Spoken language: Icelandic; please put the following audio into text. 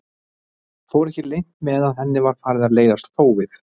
Fór ekki leynt með að henni var farið að leiðast þófið.